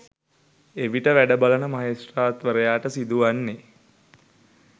එවිට වැඩ බලන මහෙස්ත්‍රාත්වරයාට සිදුවන්නේ